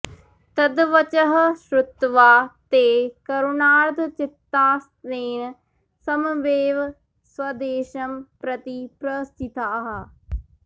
तद्वचः श्रुत्वा ते करुणार्द्रचित्तास्तेन सममेव स्वदेशं प्रति प्रस्थिताः